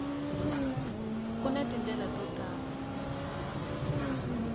ku na tindlela to tala